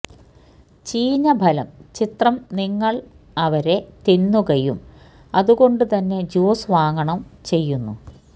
ചീഞ്ഞ ഫലം ചിത്രം നിങ്ങൾ അവരെ തിന്നുകയും അതുകൊണ്ടുതന്നെ ജ്യൂസ് വാങ്ങണം ചെയ്യുന്നു